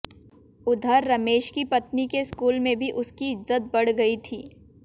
उधर रमेश की पत्नी के स्कूल में भी उस की इज़्ज़त बढ़ गई थी